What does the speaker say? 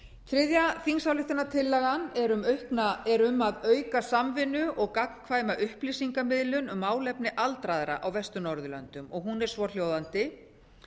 þriðja þingsályktunartillagan er um að auka samvinnu og gagnkvæma upplýsingamiðlun um málefni aldraðra á vestur norðurlöndum og hún er svohljóðandi